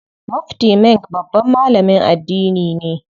Mufti Menk babban malamin addini ne.